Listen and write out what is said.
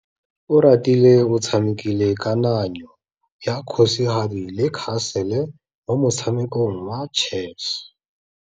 Oratile o tshamekile kananyô ya kgosigadi le khasêlê mo motshamekong wa chess.